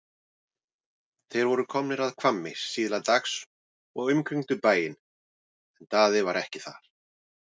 Þeir voru komnir að Hvammi síðla dags og umkringdu bæinn en Daði var ekki þar.